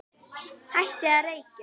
Hættið að reykja!